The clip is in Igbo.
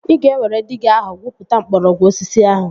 Ị ga-ewere diiga ahụ gwupụta mgbọrọgwụ osisi ahụ